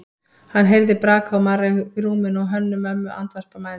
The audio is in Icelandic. Hann heyrði braka og marra í rúminu og Hönnu-Mömmu andvarpa mæðulega.